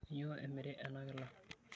Kainyoo emiri ena kila?